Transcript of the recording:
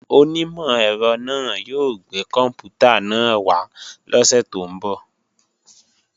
Onímọ̀ ẹ̀rọ náà yóò gbé kòǹpútà náà wá lọ́sè tó ń bọ̀